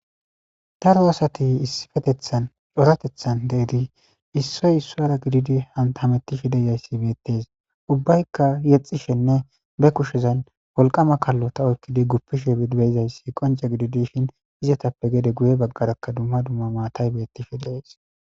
Darro aasati issipetethani coratethani deyidi isoyi isuwara gididi hametishe deyesi betesi ubbayi yexishene be kushezani woliqama kalota oyikidi gupishe dizayisi qonce gididi dishini izatape gede guye baggara duma duma matayi betishe desi.